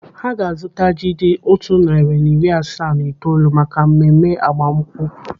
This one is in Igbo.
Ha ga-azụta ji dị otu narị na iri asaa na itoolu maka mmemme agbamnkwụ.